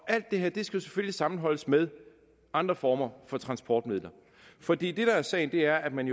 alt det her skal selvfølgelig sammenholdes med andre former for transportmidler for det der er sagen er at man